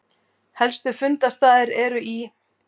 Helstu fundarstaðir eru í